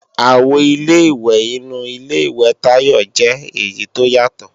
Àwo Ilé-ìwẹ̀ inu Ilé-ìwẹ̀ Tayọ jẹ́ èyí tó yàtọ̀